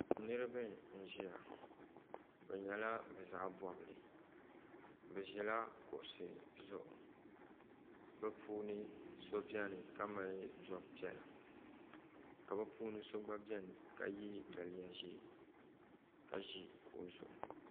Niriba n ʒia bɛ nyɛla bɛ zaɣa bobli bɛ ʒila kuɣusi zuɣu bɛ puuni so biɛni ka mali zob'piɛla ka bɛ puuni so gba biɛni ka ye daliya ʒee ka ʒi kuɣu zuɣu.